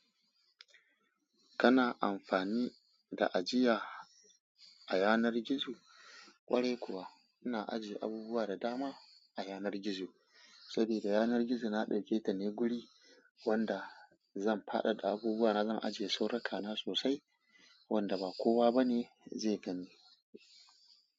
Kana amfani da ajiya a yanar gizo? Kwarai kuwa ina ajiye abubuwa da dama a yanar gizo sabida yanar gizo na dauketa ne guri wanda zan faɗaɗa abubuwa na zan ajiye sirrika na sosai wanda ba kowa bane zai gani.